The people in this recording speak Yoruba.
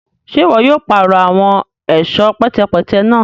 Ṣe iwọ yóò parọ awọn ẹṣọ pẹtẹpẹtẹ náà?